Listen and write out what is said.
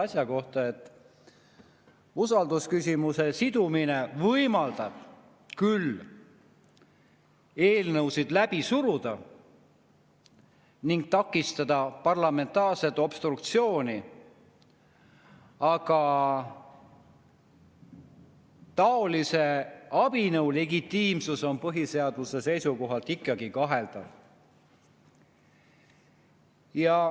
Nimelt, usaldusküsimusega sidumine võimaldab küll eelnõusid läbi suruda ning takistada parlamentaarset obstruktsiooni, aga taolise abinõu legitiimsus on põhiseaduse seisukohalt ikkagi kaheldav.